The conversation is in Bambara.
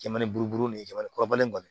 Jaman'u ni jamakɔkɔrɔba in kɔni